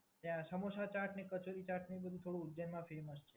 ત્યાં સમોસાં ચાટ અને કચોરી ચાટને એ બધુ થોડું ઉજ્જૈનમાં ફેમસ છે.